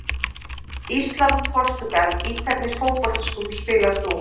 Ísland- Portúgal Í hvernig fótboltaskóm spilar þú?